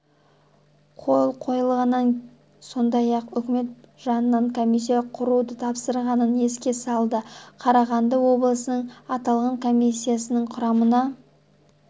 қол қойғанын сондай-ақ үкімет жанынан комиссия құруды тапсырғанын еске салды қарағанды облысынан аталған комиссияның құрамына